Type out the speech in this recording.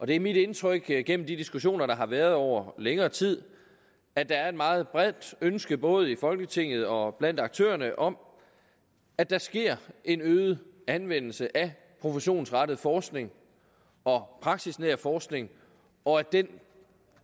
det er mit indtryk gennem de diskussioner der har været over længere tid at der er et meget bredt ønske både i folketinget og blandt aktørerne om at der sker en øget anvendelse af professionsrettet forskning og praksisnær forskning og at den